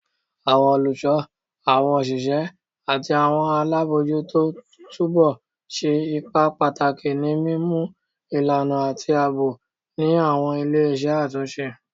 Awọn oluso, awọn oṣiṣẹ ati awọn alabojuto tubu ṣe ipa pataki ni mimu ilana ati aabo ni awọn ile-iṣẹ atunṣe